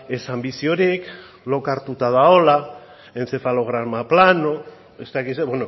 ez anbiziorik lokartuta dagoela encefalograma plano ez dakit zer